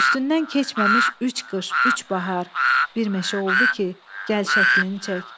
Üstündən keçməmiş üç qış, üç bahar, bir meşə oldu ki, gəl şəklini çək.